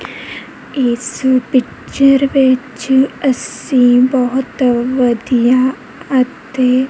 ਇਸ ਪਿਕਚਰ ਵਿੱਚ ਅੱਸੀ ਬੋਹੁਤ ਵਧੀਆ ਅਤੇ--